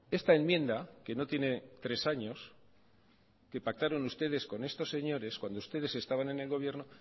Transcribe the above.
esta enmienda que no tiene tres años que pactaron ustedes con estos señores cuando ustedes estaban en el gobierno